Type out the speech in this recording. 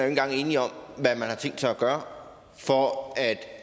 engang enige om hvad man har tænkt sig at gøre for at